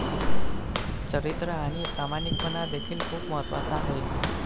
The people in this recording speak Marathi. चरित्र आणि प्रामाणिकपणा देखील खुप महत्त्वाचं आहे.